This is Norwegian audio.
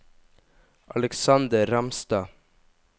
Aleksander Ramstad